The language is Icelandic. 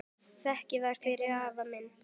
Þakka þér fyrir, afi minn.